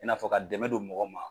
I n'a fɔ ka dɛmɛ don mɔgɔ ma.